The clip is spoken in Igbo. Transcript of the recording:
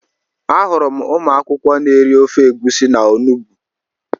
Ahụrụ m ụmụ akwụkwọ n'eri ofe egwusi na onugbu